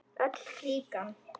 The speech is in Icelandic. Öll klíkan.